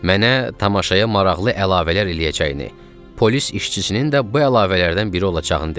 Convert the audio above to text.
Mənə tamaşaya maraqlı əlavələr eləyəcəyini, polis işçisinin də bu əlavələrdən biri olacağını dedi.